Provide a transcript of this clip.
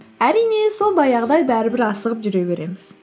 әрине сол баяғыдай бәрібір асығып жүре береміз